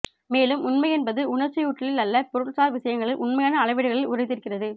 மேலும் உண்மையென்பது உணர்ச்சியூட்டலில் அல்ல பொருள்சார் விஷயங்களின் உண்மையான அளவீடுகளில் உறைந்திருக்கிறது